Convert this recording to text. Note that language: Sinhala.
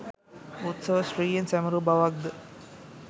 උත්සව ශ්‍රීයෙන් සැමරූ බවක්ද